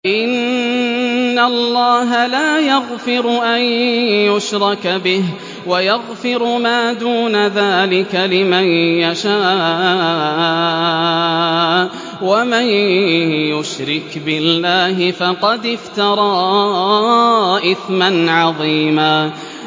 إِنَّ اللَّهَ لَا يَغْفِرُ أَن يُشْرَكَ بِهِ وَيَغْفِرُ مَا دُونَ ذَٰلِكَ لِمَن يَشَاءُ ۚ وَمَن يُشْرِكْ بِاللَّهِ فَقَدِ افْتَرَىٰ إِثْمًا عَظِيمًا